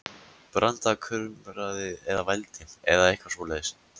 Branda kumraði eða vældi, eða eitthvað svoleiðis.